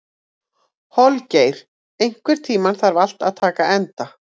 Holgeir, einhvern tímann þarf allt að taka enda.